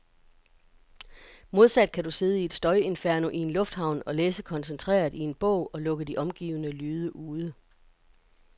Modsat kan du sidde i et støjinferno i en lufthavn og læse koncentreret i en bog, og lukke de omgivende lyde ude.